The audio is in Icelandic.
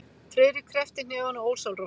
Friðrik kreppti hnefana ósjálfrátt.